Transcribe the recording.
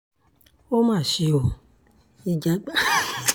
ó mà ṣe o ìjàgbá